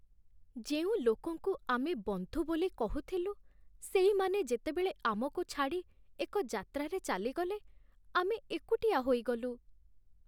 ଯେଉଁ ଲୋକଙ୍କୁ ଆମେ ବନ୍ଧୁ ବୋଲି କହୁଥିଲୁ ସେଇମାନେ ଯେତେବେଳେ ଆମକୁ ଛାଡ଼ି ଏକ ଯାତ୍ରାରେ ଚାଲିଗଲେ, ଆମେ ଏକୁଟିଆ ହୋଇଗଲୁ।